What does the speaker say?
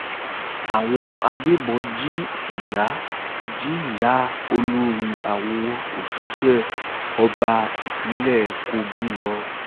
àwọn agbébọn jí ìyá jí ìyá olórí àwọn òṣìṣẹ́ ọba ìpínlẹ̀ kogi lọ